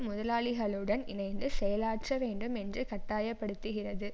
முதலாளிகளுடன் இணைந்து செயலாற்ற வேண்டும் என்று கட்டாயப்படுத்துகிறது